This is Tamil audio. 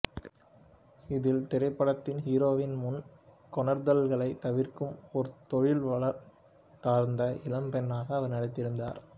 இதில் திரைப்படத்தின் ஹீரோவின் முன்கொணர்தல்களைத் தவிர்க்கும் ஒரு தொழில்வாழ்க்கைசார்ந்த இளம்பெண்ணாக அவர் நடித்திருந்தார்